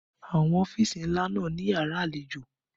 Àwọn ọ́fìsì ńlá náà ní yàrá àlejò